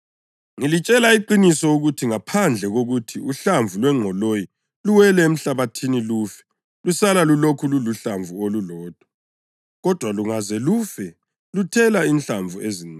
Ngilitshela iqiniso ukuthi ngaphandle kokuthi uhlamvu lwengqoloyi luwele emhlabathini lufe, lusala lulokhu luluhlamvu olulodwa. Kodwa lungaze lufe luthela inhlamvu ezinengi.